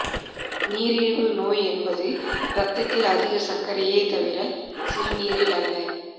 நீரிழிவு நோய் என்பது இரத்தத்தில் அதிக சர்க்கரையே தவிர சிறுநீரில் அல்ல